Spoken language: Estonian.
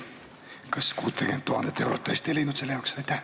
Kas 60 000 eurot tõesti ei leidnud selle jaoks?